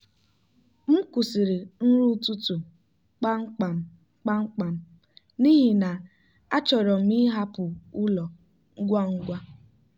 m kwụsịrị nri ụtụtụ kpamkpam kpamkpam n'ihi na achọrọ m ịhapụ ụlọ ngwa ngwa.